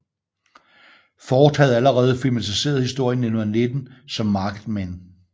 Ford havde allerede filmatiseret historien i 1919 som Marked Men